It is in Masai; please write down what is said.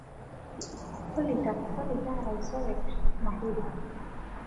olly tapasali taara isoket mahiri